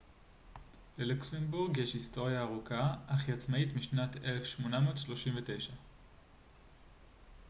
ללוקסמבורג יש היסטוריה ארוכה אך היא עצמאית משנת 1839